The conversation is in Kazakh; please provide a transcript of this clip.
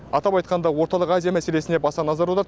атап айтқанда орталық азия мәселесіне баса назар аударды